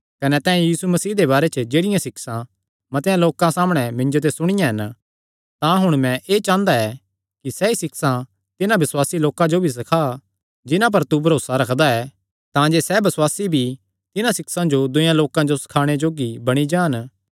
कने तैं यीशु मसीह दे बारे च जेह्ड़ियां सिक्षां मतेआं लोकां सामणै मिन्जो ते सुणियां हन तां हुण मैं एह़ चांह़दा ऐ कि सैई सिक्षां तिन्हां बसुआसी लोकां जो भी सखा जिन्हां पर तू भरोसा रखदा ऐ तांजे सैह़ बसुआसी भी तिन्हां सिक्षां जो दूयेयां लोकां जो सखाणे जोग्गे बणी जान